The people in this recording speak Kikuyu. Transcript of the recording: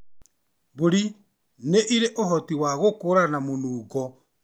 Mbũri nĩ irĩ ũhoti wa gũkũũrana mũnungo mũũru kana mwega.